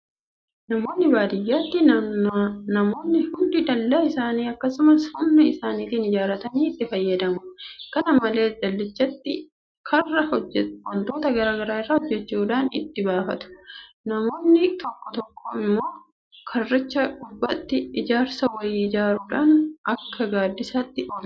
Naannoo baadiyyaatti namoonni hundi dalla isaanii akkuma humna isaaniitti ijaarratanii itti fayyadamu. Kana malees dallichaatti karra waantota garaa garaa irraa hojjechuudhaan itti baafatu. Namoonni tokko tokko immoo karricha gubbaatti ijaarsa wayii ijaaruudhaan akka gaaddisaatti tolchu.